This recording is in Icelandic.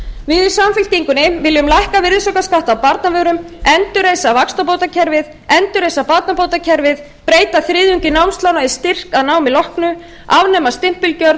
við í samfylkingunni viljum lækka virðisaukaskatt á barnavörum endurreisa vaxtabótakerfið endurreisa barnabótakerfið breyta þriðjungi námslána í styrk að námi loknu afnema stimpilgjöld